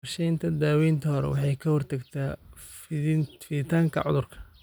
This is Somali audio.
Qorshaynta daawaynta hore waxay ka hortagtaa fiditaanka cudurka.